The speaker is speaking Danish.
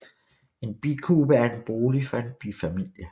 En bikube er en bolig for en bifamilie